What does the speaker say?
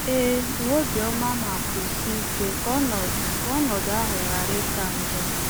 Ee, nwee obiọma ma kwụsie ike ka ọnọdụ ka ọnọdụ ahụ ghara ịka njọ.